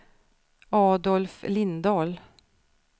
Adolf Lindahl